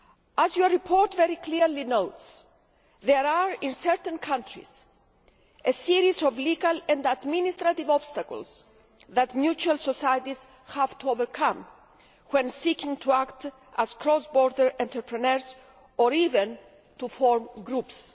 As your report very clearly notes, there are in certain countries a series of legal and administrative obstacles that mutual societies have to overcome when seeking to act as cross border entrepreneurs or even to form groups.